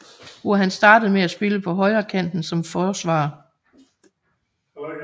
Hvor han startede med at spille på højrekanten som forsvarer